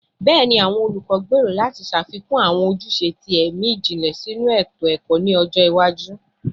Bẹẹni, awọn olukọ gbero lati ṣafikun awọn ojuse ti ẹmi jinlẹ sinu eto-ẹkọ ni ọjọ iwaju